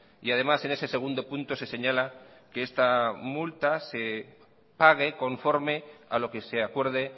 además en ese segundo punto se señala que esta multa se pague conforme a lo que se acuerde